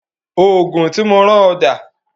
Oògùn tí mo rán ọ dà